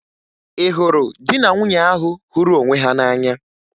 Ị hụrụ di na nwunye ahụ hụrụ onwe ha n'anya?